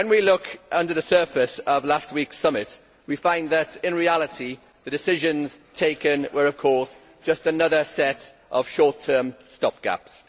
When we look under the surface of last week's summit, we find that, in reality, the decisions taken were, of course, just another set of short term stopgaps.